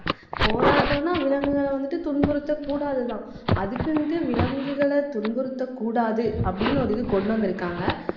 போராட்டம்னா, விலங்குகளை வந்துட்டு துன்புறுத்தக்கூடாதுதான் அதுக்குன்ட்டு விலங்குகளை துன்புறுத்தக்கூடாது, அப்படின்னு ஒரு இது கொண்டு வந்திருக்காங்க.